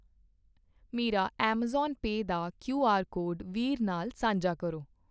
ਮੇਰਾ Amazon Pay ਦਾ Q R code ਵੀਰ ਨਾਲ ਸਾਂਝਾ ਕਰੋ